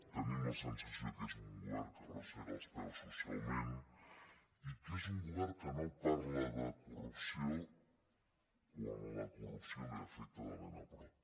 tenim la sensació que és un govern que arrossega els peus socialment i que és un govern que no parla de corrupció quan la corrupció l’afecta de ben a prop